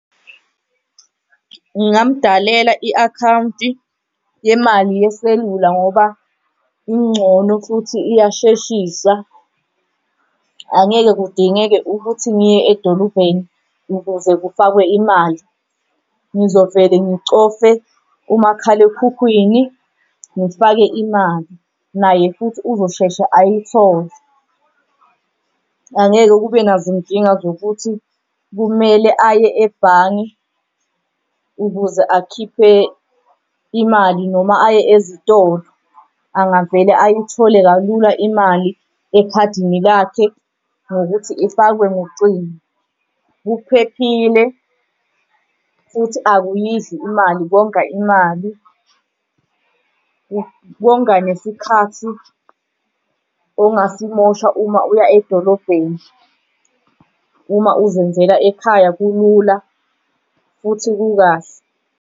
Ngingambhalela i-akhawunti yemali yeselula ngoba ingcono futhi iyasheshisa. Angeke kudingeke ukuthi ngiye edolobheni ukuze kufakwe imali. Ngizovele ngicofe umakhalekhukhwini ngifake imali, naye futhi uzosheshe ayithole angeke kube nazinkinga zokuthi kumele aye ebhange ukuze akhiphe imali noma aye ezitolo angavele ayithole kalula imali ekhadini lakhe ngokuthi ifakwe ngocingo. Kuphephile futhi akuyidli imali. Konga imali konga nesikhathi ongasimosha, uma uya edolobheni. Uma uzenzela ekhaya kulula futhi kukahle